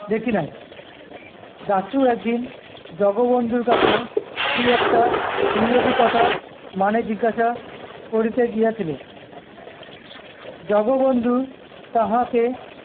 দেখি নাই। দাশু একদিন জগবন্ধুর কাছে কি একটা ইংরেজি কথা মানে জিজ্ঞাসা করিতে গিয়াছিল। জগবন্ধু তাহাকে